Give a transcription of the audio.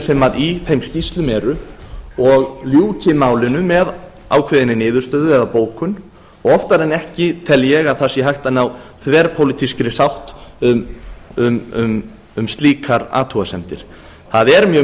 sem í þeim skýrslum eru og ljúki málinu með ákveðinni niðurstöðu eða bókun oftar en ekki tel ég að það sé hægt að ná þverpólitískri sátt um slíkar athugasemdir það er mjög